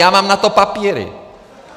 Já mám na to papíry!